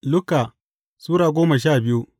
Luka Sura goma sha biyu